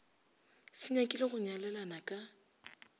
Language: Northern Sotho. se nyakile go nyalelana ka